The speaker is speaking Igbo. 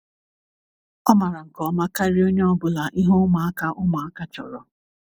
o mara nke ọma karia onye ọbula ihe ụmụaka ụmụaka chọrọ